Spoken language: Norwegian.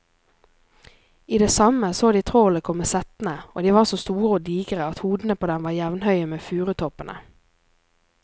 I det samme så de trollene komme settende, og de var så store og digre at hodene på dem var jevnhøye med furutoppene.